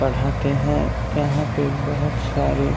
पढ़ाते हैं यहाँ पे बहोत सारे --